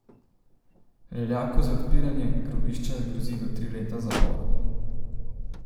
Leljaku za odpiranje grobišča grozi do tri leta zapora.